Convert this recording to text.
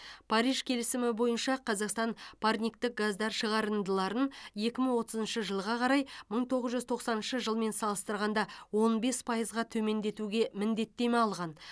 париж келісімі бойынша қазақстан парниктік газдар шығарындыларын екі мың отызыншы жылға қарай мың тоғыз жүз тоқсаныншы жылмен салыстырғанда он бес пайызға төмендетуге міндеттеме алған